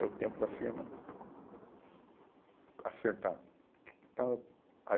É o tempo da firma acertar. Então eu, aí